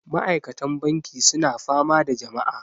Ma'aikatan banki suna fama da jama'a